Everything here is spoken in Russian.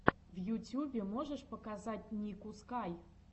в ютюбе можешь показать нику скай